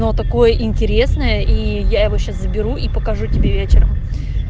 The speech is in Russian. но такое интересное и я его сейчас заберу и покажу тебе вечером